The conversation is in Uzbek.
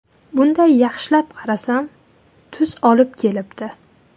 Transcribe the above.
Bunday yaxshilab qarasam, tuz olib kelibdi.